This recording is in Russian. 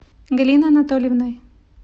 галиной анатольевной